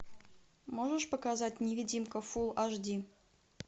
можешь показать невидимка фулл аш ди